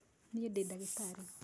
Niĩ ndĩ ndagĩtarĩ